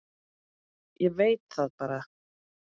Ég veit það bara.